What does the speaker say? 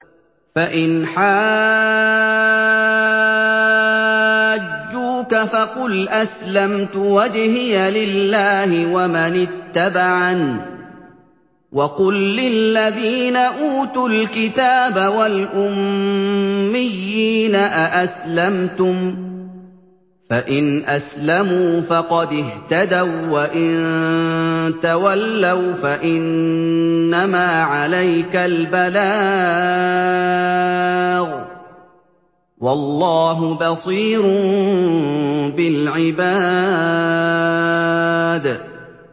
فَإِنْ حَاجُّوكَ فَقُلْ أَسْلَمْتُ وَجْهِيَ لِلَّهِ وَمَنِ اتَّبَعَنِ ۗ وَقُل لِّلَّذِينَ أُوتُوا الْكِتَابَ وَالْأُمِّيِّينَ أَأَسْلَمْتُمْ ۚ فَإِنْ أَسْلَمُوا فَقَدِ اهْتَدَوا ۖ وَّإِن تَوَلَّوْا فَإِنَّمَا عَلَيْكَ الْبَلَاغُ ۗ وَاللَّهُ بَصِيرٌ بِالْعِبَادِ